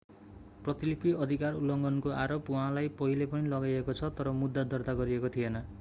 प्रतिलिपि अधिकार उल्लङ्घनको आरोप उहाँलाई पहिले पनि लगाइएको छ तर मुद्दा दर्ता गरिएको थिएन